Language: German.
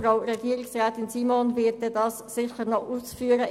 Frau Regierungsrätin Simon wird das dann sicher noch ausführen.